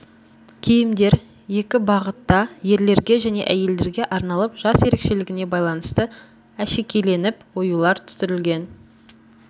киімдер екі бағытта ерлерге және әйелдерге арналып жас ерекшелігіне байланысты әшекейленіп оюлар түсірілген